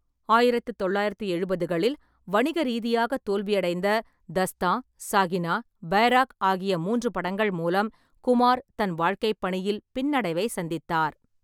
ஆயிரத்து தொள்ளாயிரத்து எழுபதுகளில் வணிக ரீதியாக தோல்வியடைந்த 'தஸ்தான் ', 'சாகினா', 'பைராக்' ஆகிய மூன்று படங்கள் மூலம் குமார் தன் வாழ்கைப்பணியில் பின்னடைவை சந்தித்தார்.